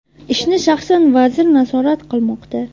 Ishni shaxsan vazir nazorat qilmoqda.